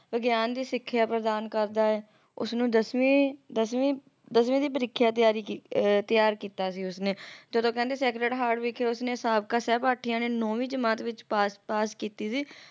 ਵਿਗਿਆਨ ਦੀ ਸਿੱਖਿਆ ਪ੍ਰਦਾਨ ਕਰਦਾ ਹੈ ਉਸਨੂੰ ਦਸਵੀਂ ਦਸਵੀਂ ਦਸਵੀਂ ਦੀ ਪ੍ਰੀਖਿਆ ਦੀ ਤਿਆਰੀ ਤਿਆਰ ਕੀਤਾ ਸੀ ਉਸ ਨੇ ਜਦੋ ਕਹਿੰਦੇ sacred heart ਵਿਖੇ ਸਾਬਕਾ ਸਹਿਪਾਠੀਆਂ ਨੇ ਨੌਵੀਂ ਜਮਾਤ ਵਿੱਚ ਪਾਸ ਪਾਸ ਕੀਤੀ ਸੀ